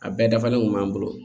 A bɛɛ dafalen kun b'an bolo